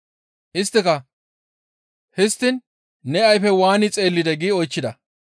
Isttika, «Histtiin ne ayfey waani xeellidee?» gi oychchida.